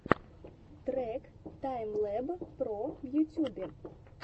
трек таймлэб про в ютубе